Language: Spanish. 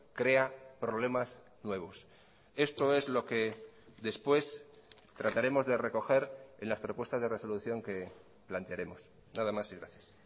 crea problemas nuevos esto es lo que después trataremos de recoger en las propuestas de resolución que plantearemos nada más y gracias